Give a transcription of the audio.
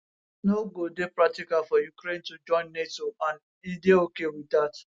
no go dey practical for ukraine to join nato and e dey ok wit dat